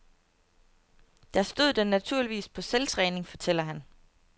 Der stod den naturligvis på selvtræning, fortæller han.